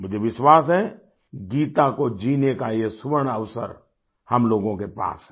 मुझे विश्वास है गीता को जीने का ये स्वर्ण अवसर हम लोगों के पास है